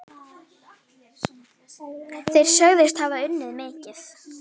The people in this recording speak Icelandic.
Þeir sögðust hafa unnið mikið.